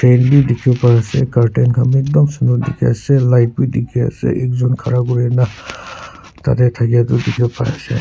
fan bi dikhi para ase curtain khan bi ekdom sundor dikhi ase light bi dikhi ase ekjun khara kurina tadey thakia tu dikhi wo pari ase.